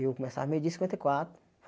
Eu começava meio dia e cinquenta e quatro.